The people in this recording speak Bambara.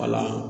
Wala